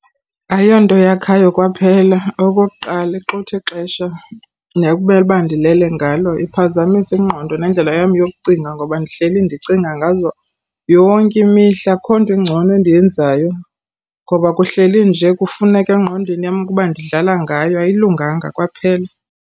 Ayonto eyakhayo kwaphela. Okokuqala, ixuthi ixesha nekumele uba ndilele ngalo. Iphazamisa ingqondo nendlela yam yokucinga ngoba ndihleli ndicinga ngazo yonke imihla. Akukho nto ingcono endiyenzayo ngoba kuhleli nje kufuneka engqondweni yam ukuba ndidlala ngayo. Ayilunganga kwaphela.